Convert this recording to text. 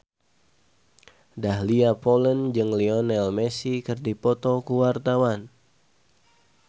Dahlia Poland jeung Lionel Messi keur dipoto ku wartawan